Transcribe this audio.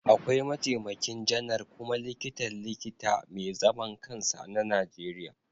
Akwai Mataimakin Janar kuma Likitan Likita mai zaman kansa na Najeriya